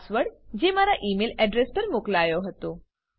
password જે મારા email address પર મોકલાયો હતો